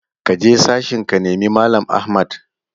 Kaje sashen ka nemi mallam Ahmad!